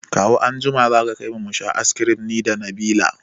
Kawu anjima za ka kaimu musha ice kirim nida Nabila